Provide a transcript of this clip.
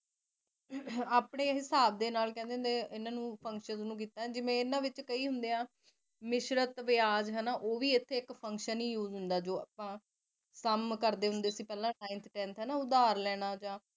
ਆਪਣੇ ਹਿਸਾਬ ਦੇ ਨਾਲ ਸੰਖਿਆ ਨੂੰ ਕੀਤਾਾ ਹੁੰਦਾ ਜਿਵੇ ਇਹਨਾ ਨੂੰ ਕੀਤਾ ਹੁੰਦਾ ਜਿਵੇ ਇਹਨਾ ਵਿੱਚ ਕਈ ਹੁੰਦੇ ਮਿਸ਼ਰਤ ਵਿਆਜ ਉਹ ਵੀ ਇਥੇ Function use ਜੋ ਆਪਾ ਕੰਮ ਕਰਦੇ ਹੁੰਦੀ ਸੀ ਪਹਿਲਾ ਉਧਾਰ ਲੈਣਾ ਜਾ